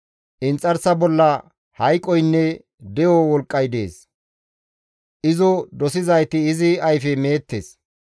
Inxarsa bolla hayqoynne de7o wolqqay dees; izo dosizayti izi ayfe meettes.